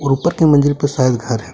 ऊपर के मंजिल पर शायद घर हैं।